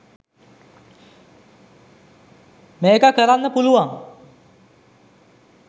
මේක කරන්න පුළුවං.